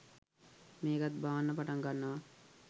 මේකත් බාන්න පටන් ගන්නවා